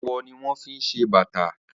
Awọ ni wọ́n fi se bàta.